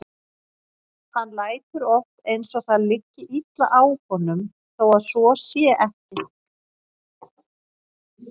Hann lætur oft eins og það liggi illa á honum þó að svo sé ekki.